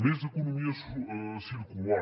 més economia circular